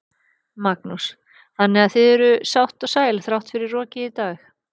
Magnús: Þannig að þið eruð sátt og sæl þrátt fyrir rokið í dag?